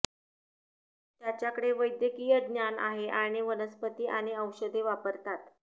त्याच्याकडे वैद्यकीय ज्ञान आहे आणि वनस्पती आणि औषधे वापरतात